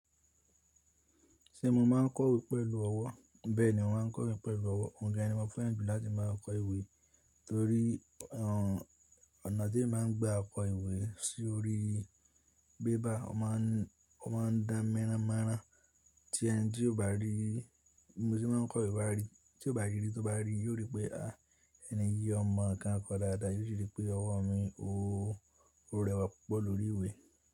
Ṣé mo máa ń kọ̀wé pẹ̀lú ọwọ́? Bẹ́ẹ̀ni, mo máa ń kọ ìwé pẹ̀lú ọwọ́. Òǹgẹ́ ni mo fẹ́ràn jù láti máa kọ ìwé torí, ọ̀nà tí mo máa ń gbé àkọ ìwé sí orí bébà, ó ma ń dá míràn míràn tí ẹni tí ó bá rí, mo sí mo kọ ìwé bá rí, tí ó bá ríi, yóò rí pé, à èni yìí o mo nnkan kò dáadáa. Yóò rí pé ọwọ́ mi ò rẹwà púpọ̀ lórí ìwé.